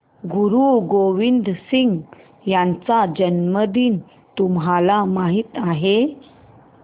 गुरु गोविंद सिंह यांचा जन्मदिन तुम्हाला माहित आहे